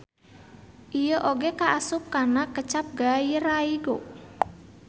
Ieu oge kaasup kana kecap gairaigo.